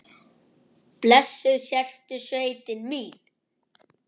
Blessuð sértu sveitin mín!